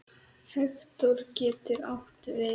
Hektor getur átt við